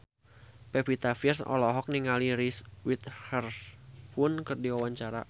Pevita Pearce olohok ningali Reese Witherspoon keur diwawancara